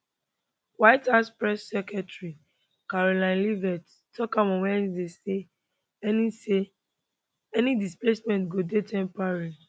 white house press secretary karoline leavitt tok on wednesday say any say any displacement go dey temporary